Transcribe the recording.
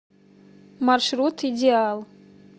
маршрут идеал